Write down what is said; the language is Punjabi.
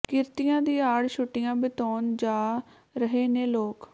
ਕਿਰਤੀਆਂ ਦੀ ਆੜ ਛੁੱਟੀਆਂ ਬਿਤਾਉਣ ਜਾ ਰਹੇ ਨੇ ਲੋਕ